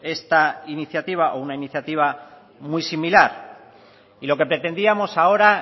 esta iniciativa o una iniciativa muy similar y lo que pretendíamos ahora